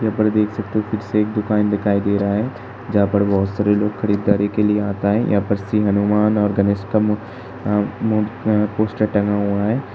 यहां पर देख सकते हो फिर से एक दुकान दिखाई दे रहा है जहां पर बोहोत सारे लोग खरीदारी के लिए आता है। यहां पर श्री हनुमान और गनेश का मु अं मु अं पोस्टर टंगा हुआ है।